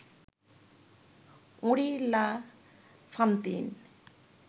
Henri La Fontaine